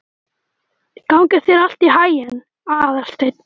Gangi þér allt í haginn, Aðalsteinn.